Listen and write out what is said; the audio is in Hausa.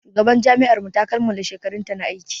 Shugaban jami'ar mu ta kammala shekarunta na aiki.